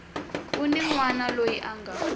un wana loyi a nga